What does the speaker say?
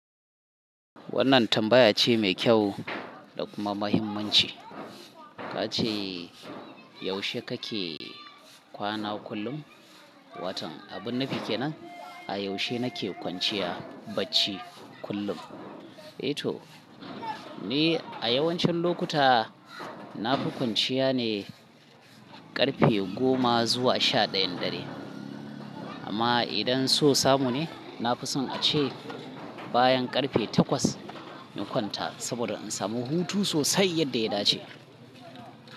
Wannan tambaya ce mai kyau da kuma mahimmanci. Ka ce yaushe kake kwana kullum? Watan, abin nufi kenan a yaushe nake kwanciya bacci kullum? E to, ni a yawancin lokuta na fi kwanciya ne ƙarfe goma zuwa sha ɗayan dare. Amma idan so samu ne, na fi son a ce bayan ƙarfe takwas na kwanta saboda in samu hutu sosai yadda ya dace.